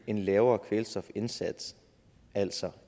en lavere kvælstofindsats altså